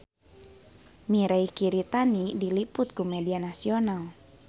Mirei Kiritani diliput ku media nasional